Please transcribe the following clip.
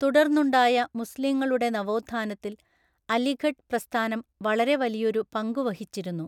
തുടർന്നുണ്ടായ മുസ്ലീങ്ങളുടെ നവോത്ഥാനത്തിൽ അലിഘഡ് പ്രസ്ഥാനം വളരെ വലിയൊരു പങ്കു വഹിച്ചിരുന്നു.